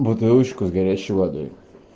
бутылочку с горячей водой